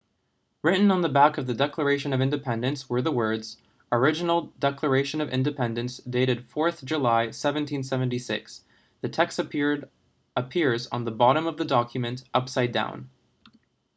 written on the back of the declaration of independence were the words original declaration of independence dated 4th july 1776 the text appears on the bottom of the document upside down